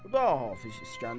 Xudahafiz, İsgəndər bəy.